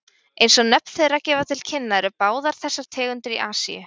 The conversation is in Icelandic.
Eins og nöfn þeirra gefa til kynna eru báðar þessar tegundir í Asíu.